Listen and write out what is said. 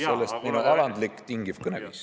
Sellest minu alandlik tingiv kõneviis.